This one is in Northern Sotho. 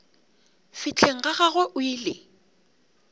fihleng ga gagwe o ile